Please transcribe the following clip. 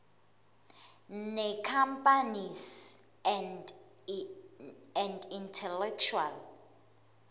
necompanies and intellectual